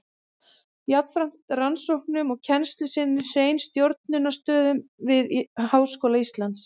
Jafnframt rannsóknum og kennslu sinnti Hreinn stjórnunarstörfum við Háskóla Íslands.